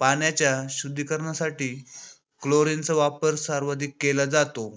पाण्याच्या शुद्धीकरणासाठी chlorine चा वापर सार्वधिक केला जातो.